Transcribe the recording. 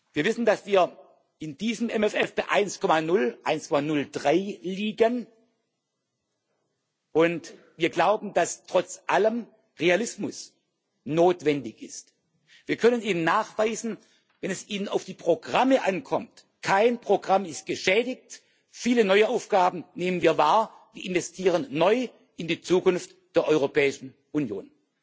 Wir wissen, dass wir in diesem MFR bei 1,0 bis 1,03 liegen, und wir glauben, dass trotz allem Realismus notwendig ist. Wir können Ihnen nachweisen, wenn es Ihnen auf die Programme ankommt Kein Programm ist geschädigt, viele neue Aufgaben nehmen wir wahr, wir investieren neu in die Zukunft der Europäischen Union.